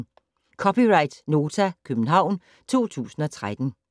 (c) Nota, København 2013